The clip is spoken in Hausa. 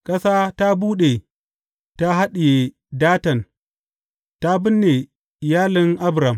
Ƙasa ta buɗe ta haɗiye Datan ta binne iyalin Abiram.